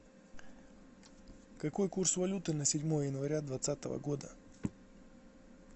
какой курс валюты на седьмое января двадцатого года